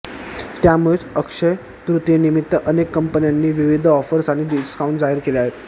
त्यामुळेच अक्षय्य तृतीयेनिमित्त अनेक कंपन्यांनी विविध ऑफर्स आणि डिस्काऊंट जाहीर केले आहेत